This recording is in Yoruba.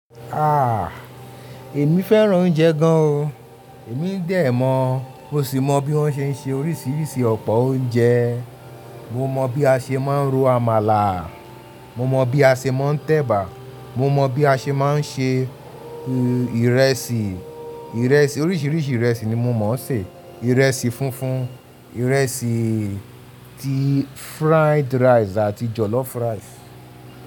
Ah! Èmi fẹ́ràn oúnjẹ gan o. Èmi ń dẹ̀ mọ̀, ó sì mọ bí wọ́n ṣe ń se oríṣiríṣi ọ̀pọ̀ oúnjẹ. Mo mọ bí a ṣe máa ń ro àmàlà, mo mọ bí a ṣe máa ń tẹ̀bà, mo mọ bí a ṣe máa ń ṣe ìrẹsì. Ìrẹsì, oríṣiríṣi ìrẹsì ni mo mọ̀ sé: ìrẹsì funfun, ìrẹsì ti fried rice àti jọ̀lọ́fù rice.